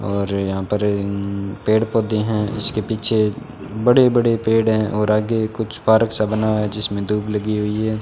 और यहां पर पेड़-पौधे है इसके पीछे बड़े-बड़े पेड़ हैं और आगे कुछ पार्क सा बना हुआ है जिसमें दुब लगी हुई है।